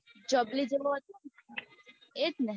ની જોબલી જેવો હતો એજ ને